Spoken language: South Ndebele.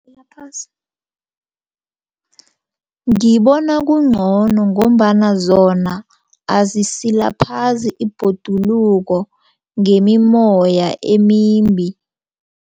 Ngibona kungcono ngombana zona azisilaphazi ibhoduluko ngemimmoya emimbi.